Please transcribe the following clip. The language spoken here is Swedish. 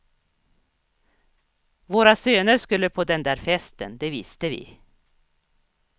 Våra söner skulle på den där festen, det visste vi.